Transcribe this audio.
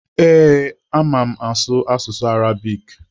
Ee, ama m asụ asụsụ Arabik.